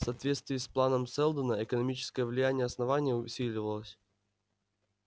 в соответствии с планом сэлдона экономическое влияние основания усиливалось